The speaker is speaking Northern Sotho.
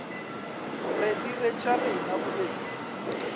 re dire tša rena bobedi